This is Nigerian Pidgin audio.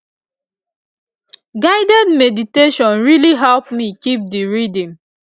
guided meditation really help me keep the rhythm